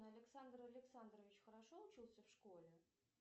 александр александрович хорошо учился в школе